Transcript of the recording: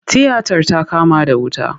Tiyatar ta kama da wuta.